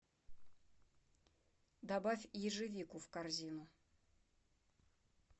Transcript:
добавь ежевику в корзину